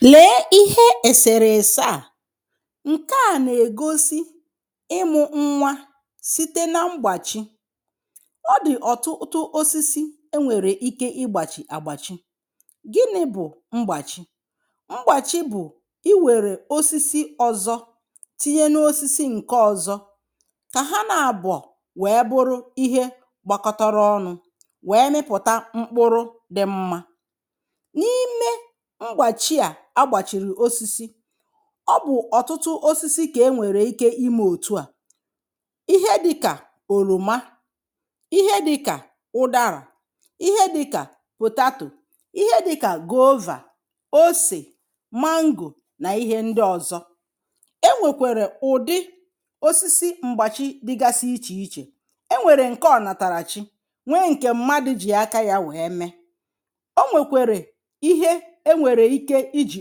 lee ihe èsèrèse a. Nke à nà-ègosi ịmụ̇ nwa site na mgbàchi. ọ dị̀ ọ̀tụtụ osisi e nwèrè ike ịgbàchi àgbàchi. Gịnị bụ̀ mgbàchi? Mgbàchi̇ bụ̀ iwèrè osisi ọ̀zọ tinye n’osisi ǹke ọ̀zọ kà ha na-abùọ wèe bụrụ ihe gbakọtọrọ ọnụ̇ wèe mịpụ̀ta mkpụrụ dị̇ mmȧ. N'ịme mgbàchi à agbàchìrì osisi ọ bụ̀ ọ̀tụtụ osisi kà e nwèrè ike imė òtu à, ihe dịkà òròma, ihe dịkà ụdarȧ, ihe dịkà potato, ihe dịkà goovȧ, osè, mango nà ihe ndị ọ̀zọ. E nwèkwèrè ụ̀dị osisi mgbàchi dịgasị ichè ichè. E nwèrè ǹke ọ̀nàtàrà chi, nwee ǹkè mmadụ̀ jì aka yȧ wèe mee. E nwekwere ihe e nwere ike i jì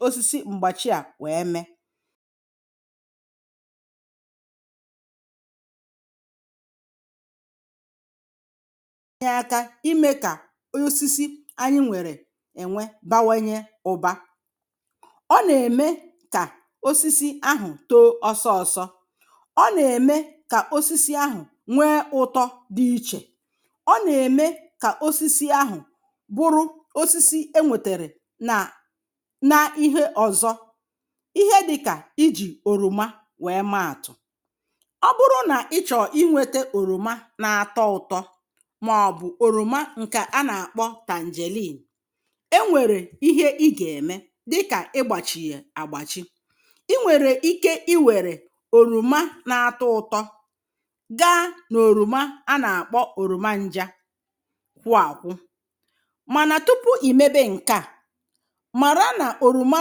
osisi mgbachi à wee mee. nye aka i ji me ka osisi anyị nwere e nwe bawanye ụba. Ọ na-eme ka osisi ahụ too ọsọ ọsọ, ọ na-eme ka osisi ahụ nwee ụtọ dị iche, ọ na-eme ka osisi ahụ bụrụ osisi e nwetere na na ihe ọzọ, ihe dịka i ji oroma wee maatụ. Ọ bụrụ na ị chọọ i nweta oroma na-atọ ụtọ maọbụ oroma nke a na-akpọ tangerine, e nwere ihe ị ga-eme dịka ị gbachi ya a gbachi. I nwere ike i were oroma na-atọ ụtọ gaa n'oroma a na-akpọ oroma nja kwụ a kwụ. Mana tupuu i mebe nkea, mara na oroma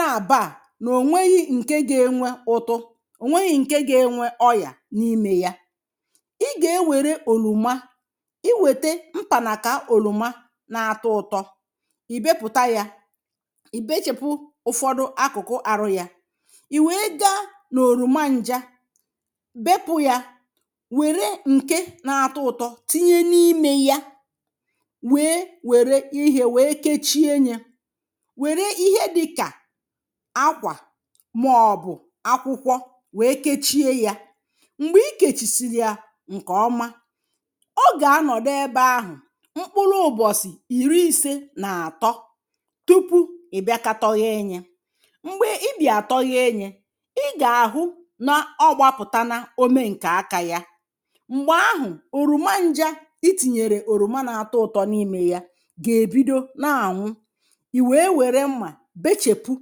nabọ a, o nweghi nke ga-enwe ụtụ o nweghi nke ga-enwe ọrịa n'ime ya. Ị ga-ewere oroma, i wete mpanaka oroma na-atọ ụtọ, i bepụta ya, i bechepụ ụfọdụ akụkụ ahụ ya. ì wèe gaa nà òroma nja, bepụ ya wère ǹke na-atọ ụtọ tinye n’imė ya wèe wère ihe wèe kechie ya, were ihe dịka akwà maọ̀bụ̀ akwụkwọ wèe kechie yȧ. Mgbè i kèchisiri yȧ ǹkè ọma, ogè anọ̀dụ ebe ahụ̀ mkpụrụ ụ̀bọ̀sị̀ ìri isė nà-àtọ tupuu ị̀ bịa kȧtọghee yȧ. Mgbè ị bịà tọghee yȧ, ị gà-àhụ na ọgbapụ̀tana ome nkè aka yȧ. Mgbè ahụ̀ òroma njȧ i tìnyèrè òroma nà-àtọ ụ̀tọ n’imė yȧ gà-èbido na ànwụ. I wee were mma, bechepụ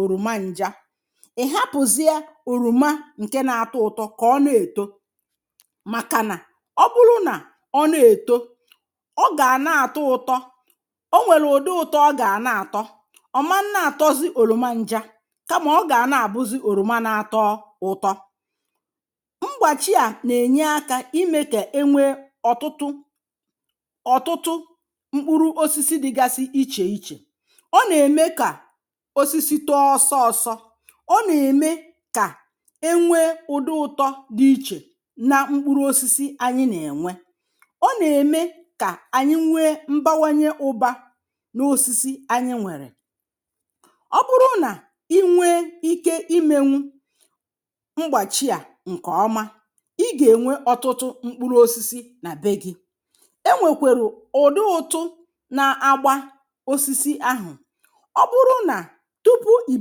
òroma ǹjá, ị hapụ̀zịe òroma ǹke na-atọ ụ̀tọ kà ọ nà-ètò màkà nà ọ bụrụ nà ọ nà-èto ọ gà-àna-àtọ ụ̀tọ. O nwèlè ụ̀dị ụ̀tọ ọ gà na-àtọ. Ọ maa na-àtọzị òroma njá kà mà ọ gà na-àbụzị òroma na-atọ ụ̀tọ. Mgbàchị à nà-ènye akȧ imė kà e nwee ọ̀tụtụ ọ̀tụtụ mkpụrụ osisi dịgasi ichè ichè. Ọ na-eme ka osisi too ọsọ ọsọ, ọ nà-ème kà enwee ụdị ụtọ dị̇ ichè na mkpụrụ osisi anyị nà-ènwe, ọ nà-ème kà anyị nwee mbawanye ụbȧ n’osisi anyị nwèrè. Ọ bụrụ nà i nwee ike i menwu mgbàchi à ǹkè ọma, i gà-ènwe ọtụtụ mkpụrụ osisi nà be gị̇. E nwèkwèrù ụ̀dị ụtụ na-agba osisi ahụ̀. Ọ bụrụ nà tupuu i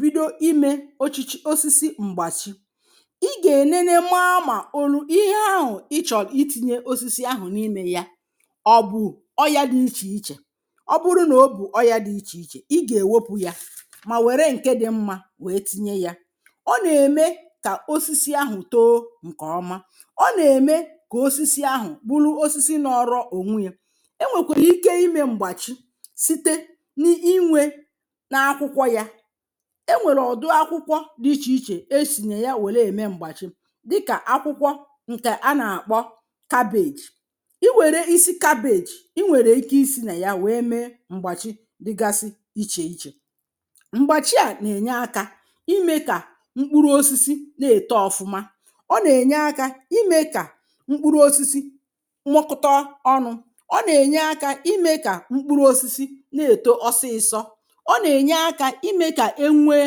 bido ime ochichi osisi mgbachi, ị ga-enene maa na oruu ihe ahụ ị chọrọ i tinye osisi n'ime ya; o bu ọya dị iche iche? Ọ bụrụ na-obu ọya dị iche iche, ị ga-ewepụ ya ma were nke dị mma wee tinye ya. Ọ na-eme ka osisi ahụ too nke ọma, ọ na-eme ka osisi ahụ bụrụ osisi nọọrọ ònwe yȧ. E nwèkwèrè ike imė m̀gbàchi site n’inwė n'akwụkwọ ya. E nwèrè ụdụ akwụkwọ dị̇ ichè ichè esi na ya wèle ème m̀gbàchi, dịkà akwụkwọ ǹkè a nà-àkpọ kabeeji. I wère isi kabeeji, i nwèrè ike isi̇ nà ya wèe mee m̀gbàchi dịgasị ichè ichè. Mgbàchi à nà-ènye akȧ imė kà mkpụrụ osisi na-èto ọ̀fụma, ọ nà-ènye akȧ imė kà mkpụrụ osisi nwụkọtọ ọnụ, ọ nà-ènye akȧ imė kà mkpụrụ osisi na-èto ọsịsọ, ọ na-enye aka i me ka enwee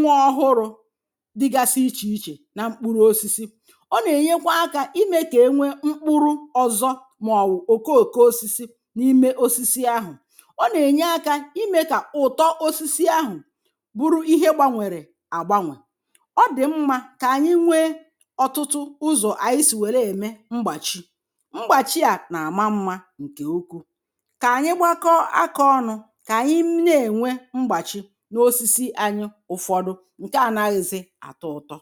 nwa ọhụrụ̇ dịgasị ichè ichè na mkpụrụ osisi, ọ nà-ènyekwa akȧ imė kà enwee mkpụrụ ọ̀zọ màọ̀bụ̀ òkoòko osisi n’ime osisi ahụ̀, ọ nà-ènye akȧ imė kà ụ̀tọ osisi ahụ̀ bụrụ ihe gbanwèrè àgbanwe. Ọ dị̀ mmȧ kà ànyị nwee ọ̀tụtụ ụzọ̀ ànyị sì wère ème mgbàchi. Mgbachi à nà-àma mmȧ ǹkè ukwuu. Kà ànyị gbakọọ aka ọnụ, kà ànyị na-ènwe mgbàchi n'osisi anyị ụfọdụ ǹkè anaghị̇zị àtọ ụtọ.